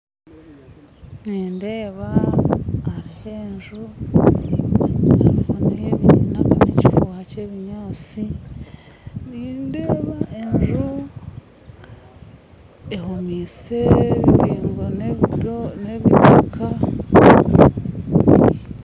Nindeeba hariho enju nindeeba hariho n'ekifuuha ky'ebinyaatsi nindeeba enju ehomise engo n'itaaka